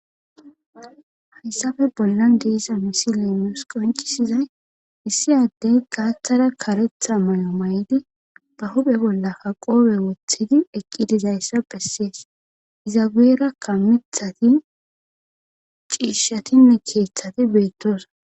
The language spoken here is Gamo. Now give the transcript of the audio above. hayssafe bollan diisa misi leemius qoncisizay issi addey gaaththara karetha may7o may7di ba huphe bollakka qoobe woththidi eqqidizayssa phessees izageera kamithati ciishshatinne keeththati beettosona